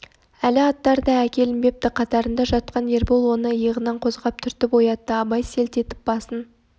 әлі аттар да әкелінбепті қатарында жатқан ербол оны иығынан қозғап түртіп оятты абай селт етіп басын